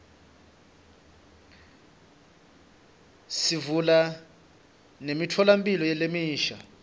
sivula nemitfolamphilo lemisha